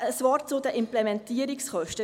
Noch ein Wort zu den Implementierungskosten;